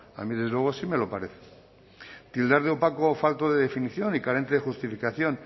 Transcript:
a mí desde luego sí me lo parece tildar de opaco o falto de definición y carente de justificación